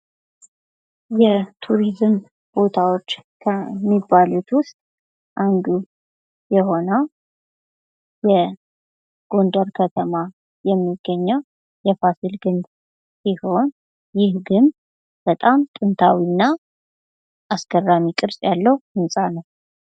የቱሪዝም ቦታዎች ከሚባሉት ውስጥ አንዱ የሆነው የጎንደር ከተማ የሚገኘው የፋሲል ግንብ ሲሆን ይህ ግንብ በጣም ጥንታዊና አስገራሚ ቅርጽ ያለው ህንጻ ነው።